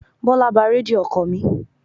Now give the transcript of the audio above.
Bọ́lá ba Rédíò ọkọ̀ mi.